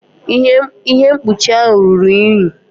Ihe mkpuchi ahụ ruru unyi.